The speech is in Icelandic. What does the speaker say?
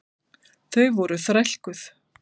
Þau voru þrælkuð.